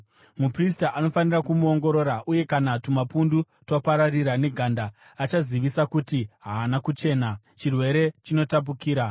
Muprista anofanira kumuongorora, uye kana tumapundu twapararira neganda, achazivisa kuti haana kuchena; chirwere chinotapukira.